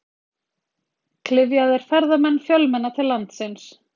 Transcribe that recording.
Klyfjaðir ferðamenn fjölmenna til landsins